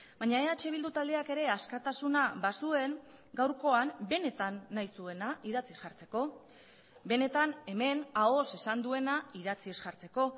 baina eh bildu taldeak ere askatasuna bazuen gaurkoan benetan nahi zuena idatziz jartzeko benetan hemen ahoz esan duena idatziz jartzeko